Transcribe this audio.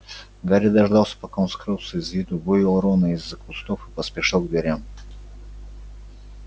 гарри дождался пока он скрылся из виду вывел рона из-за кустов и поспешил к дверям